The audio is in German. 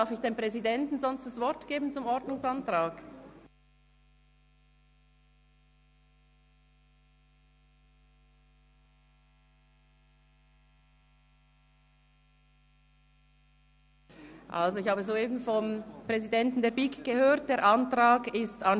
Der Präsident der BiK sagt mir soeben, es sei